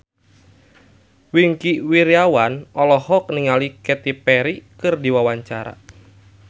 Wingky Wiryawan olohok ningali Katy Perry keur diwawancara